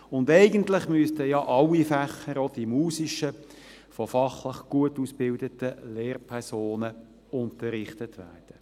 Und eigentlich müssten ja alle Fächer, auch die musischen, von fachlich gut ausgebildeten Lehrpersonen unterrichtet werden.